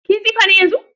Kini tsifa ne yanzun?